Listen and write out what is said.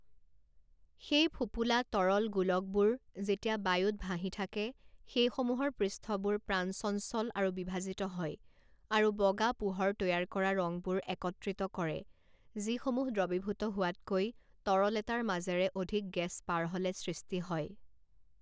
সেই ফোঁপোলা তৰল গোলকবোৰ, যেতিয়া বায়ুত ভাঁহি থাকে, সেইসমূহৰ পৃষ্ঠবোৰ প্ৰাণচঞ্চল আৰু বিভাজিত হয় আৰু বগা পোহৰ তৈয়াৰ কৰা ৰংবোৰ একত্ৰিত কৰে, যিসমূহ দ্ৰৱীভূত হোৱাতকৈ তৰল এটাৰ মাজেৰে অধিক গেছ পাৰ হ'লে সৃষ্টি হয়।